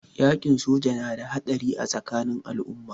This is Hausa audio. Yaƙin soji yana da haɗari a tsakanin al'umma.